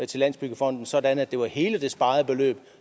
til landsbyggefonden sådan at det var hele det sparede beløb